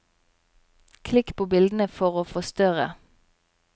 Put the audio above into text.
Klikk på bildene for å forstørre.